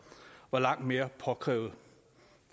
var langt mere påkrævet